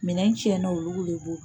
Minɛn cɛnna olugu le bolo.